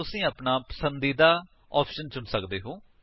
ਤੁਸੀ ਆਪਣਾ ਪਸੰਦੀਦਾਰ ਆਪਸ਼ਨ ਚੁਣ ਸਕਦੇ ਹੋ